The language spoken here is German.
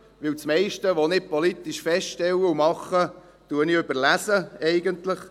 Denn das meiste, was ich politisch feststelle und mache, mache ich, indem ich lese.